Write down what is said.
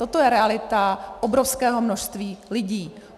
Toto je realita obrovského množství lidí.